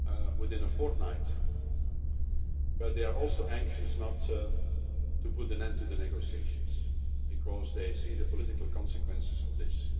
within a fortnight, but they are also anxious not to put an end to the negotiations because they see the political consequences of this.